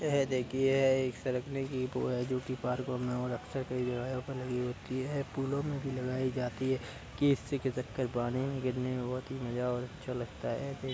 यह देखिए ये एक सरकने की वो है जो कि पार्कों में और अक्सर कई जगहे पर लगी होती है पूलों में भी लगाई जाती है की इससे खिसक के पानी में गिरने में बहुत ही मजा और अच्छा लगता है।